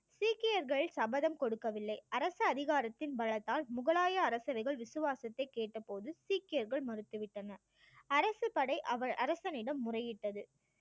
சீக்கியர்கள் சபதம் கொடுக்கவில்லை அரசு அதிகாரத்தின் பலத்தால் முகலாய அரசர்கள் விசுவாசத்தை கேட்டபோது சீக்கியர்கள் மறுத்து விட்டனர் அரசு படை அரசனிடம் முறையிட்டது